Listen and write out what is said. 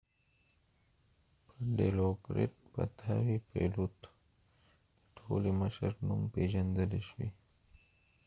پیلوت د ټولې مشر dilokrit pattavee په نوم پیژندل شوی